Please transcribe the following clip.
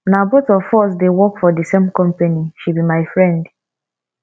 na both of us dey work for the same company she be my friend